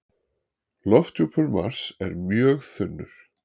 Lofthjúpur Mars er mjög þunnur.